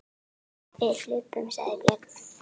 Við hlupum, sagði Björn.